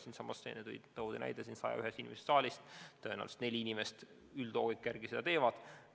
Siin toodi just näide sellestsamast saalist, 101 inimesest siit saalist: tõenäoliselt neli inimest selle loogika järgi sellist lisatööd teevad.